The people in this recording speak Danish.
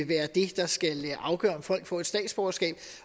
være det der skal være afgørende for om får statsborgerskab